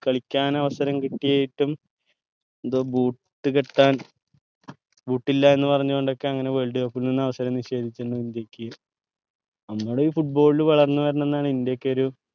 കളിക്കാൻ അവസരം കിട്ടിയിട്ടും എന്തോ boot കെട്ടാൻ boot ഇല്ല എന്ന പറന്ന് കൊണ്ടൊക്കെ അങ്ങനെ ന്ന് അവസരം നിഷേധിക്കുന്ന നമ്മൾ ഈ ൽ വളർന്ന് വരണം എന്നാണ് ഇന്റയൊക്കെ ഒരു